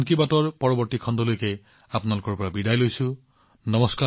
মই মন কী বাতৰ পৰৱৰ্তী খণ্ডলৈকে আপোনালোকৰ পৰা বিৰাম লৈছো